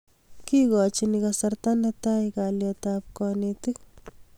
kikochini kasarta netai kalyetab kanetik